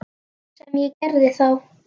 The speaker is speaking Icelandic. Sem ég gerði þá.